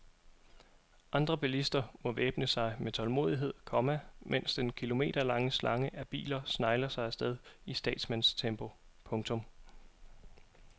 Andre bilister må væbne sig med tålmod, komma mens den kilometerlange slange af biler snegler sig afsted i statsmandstempo. punktum